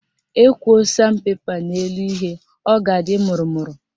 Ekwoo san pepa n'elu ihe, ọ ga-adị mụrụmụrụ